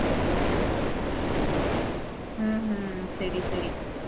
உம் உம் சரி சரி